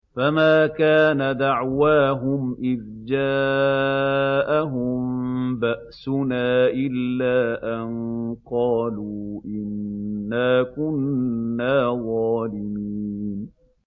فَمَا كَانَ دَعْوَاهُمْ إِذْ جَاءَهُم بَأْسُنَا إِلَّا أَن قَالُوا إِنَّا كُنَّا ظَالِمِينَ